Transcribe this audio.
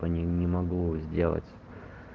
не могло сделать